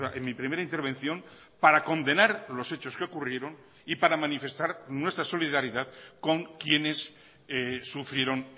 en mi primera intervención para condenar los hechos que ocurrieron y para manifestar nuestra solidaridad con quienes sufrieron